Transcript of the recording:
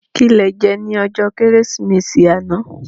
Ki lè jè ni òjò Kérésimési àná